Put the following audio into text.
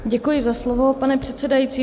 Děkuji za slovo, pane předsedající.